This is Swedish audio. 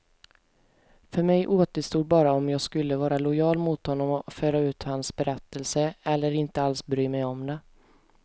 För mig återstod bara om jag skulle vara lojal mot honom och föra ut hans berättelse, eller inte alls bry mig om det.